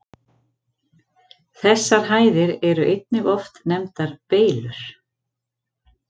Þessar hæðir eru einnig oft nefndar Beylur.